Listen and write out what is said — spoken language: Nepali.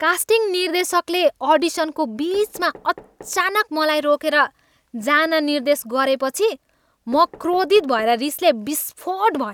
कास्टिङ निर्देशकले अडिसनको बिचमा अचानक मलाई रोकेर जान निर्देश गरेपछि म क्रोधित भएर रिसले विस्फोट भएँ।